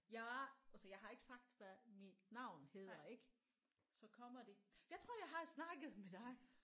Jeg og så jeg har ikke sagt hvad mit navn hedder ik så kommer de jeg tror jeg har snakket med dig